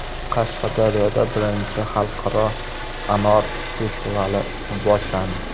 Qashqadaryoda Birinchi xalqaro anor festivali boshlandi.